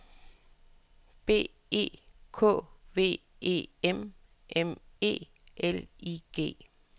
B E K V E M M E L I G